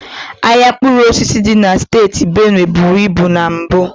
Ahịa mkpụrụ osisi dị na steeti Benue buru ibu na mbụ.